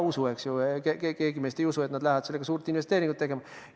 No keegi meist ei usu, et nad lähevad sellega suurt investeeringut tegema.